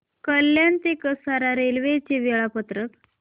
कल्याण ते कसारा रेल्वे चे वेळापत्रक